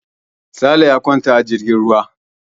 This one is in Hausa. Sale ya kwanta a jirgin ruwa.